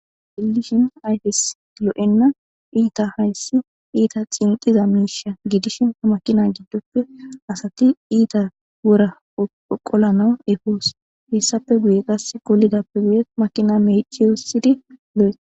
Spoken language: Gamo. Xellishin ayfes lo'oenna iitta hayssi iitta xinqiza miishsha giddishin maakina giddoppe asati iitta woora qollanaw eposonna hessappe guye qase kesi qollidappe guye maakina mecci wursiddi